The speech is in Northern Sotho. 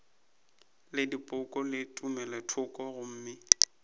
le dipoko le tumelothoko gomme